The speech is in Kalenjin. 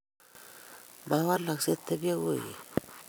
Ma walaksei; tebyei koigeny.